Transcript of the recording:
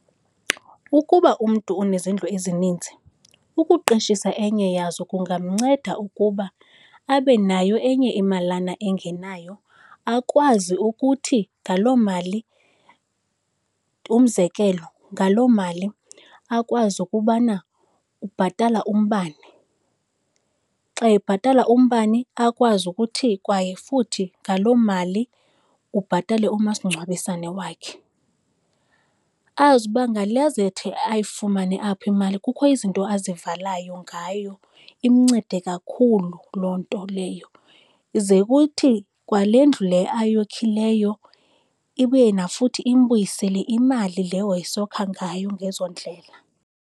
Ukuba umntu unezindlu ezininzi ukuqeshisa enye yazo kungamnceda ukuba abe nayo enye imalana engenayo, akwazi ukuthi ngaloo mali umzekelo, ngaloo mali akwazi ukubana ubhatala umbane. Xa ebhatala umbane akwazi ukuthi kwaye futhi ngaloo mali ubhatale umasingcwabisane wakhe. Azi uba ngale azawuthi ayifumane apho imali kukho izinto azivalayo ngayo imncede kakhulu loo nto leyo. Ize kuthi kwale ndlu le ayokhileyo ibuye nafuthi imbuyisele imali le wayesokha ngayo ngezo ndlela.